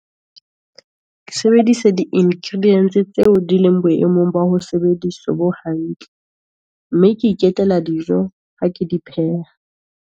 Ke sebedise di-ingredients tseo di leng boemong, ba ho sebediswa bo hantle, mme ke dijo ha ke di pheha.